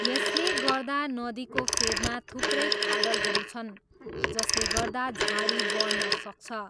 यसले गर्दा नदीको फेदमा थुप्रै खाडलहरू छन् जसले गर्दा झाडी बढ्न सक्छ।